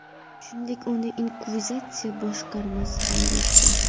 Shuningdek, uni inkvizitsiya boshqarmasi ham deyishgan.